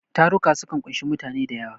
Taruka sukan ƙunshi mutane da yawa.